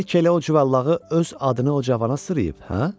Bəlkə elə o cıvılağı öz adını o cavana sırıyıb, hə?